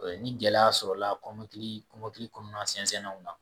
O ye ni gɛlɛya sɔrɔla kɔmɔkili kɔnɔna sɛnsɛnnaw ma.